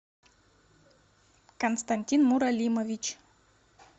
константин муралимович